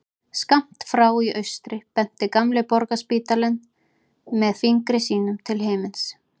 Skammt frá í austri benti gamli Borgarspítalinn með fingri sínum til himins.